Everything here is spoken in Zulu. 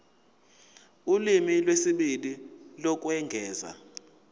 ulimi lwesibili lokwengeza